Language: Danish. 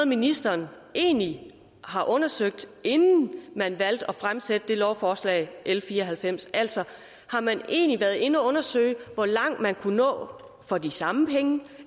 ministeren egentlig har undersøgt inden man valgte at fremsætte lovforslag l fire og halvfems altså har man egentlig været inde og undersøge hvor langt man kunne nå for de samme penge